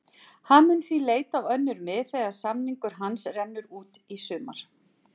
Hann mun því leita á önnur mið þegar samningur hans rennur út í sumar.